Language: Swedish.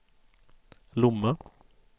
Lomma